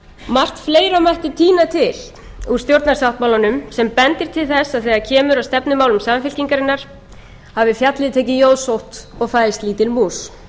margt fleira mætti tína til úr stjórnarsáttmálanum sem bendir til þess að þegar kemur að stefnumálum samfylkingarinnar hafi fjallið tekið jóðsótt og fæðst lítil mús